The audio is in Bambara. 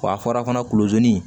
Wa a fɔra fana kuluzoni